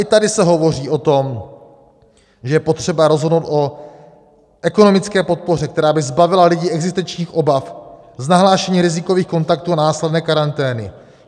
I tady se hovoří o tom, že je potřeba rozhodnout o ekonomické podpoře, která by zbavila lidi existenčních obav z nahlášení rizikových kontaktů a následné karantény.